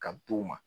Ka d'u ma